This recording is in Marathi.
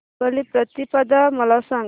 बलिप्रतिपदा मला सांग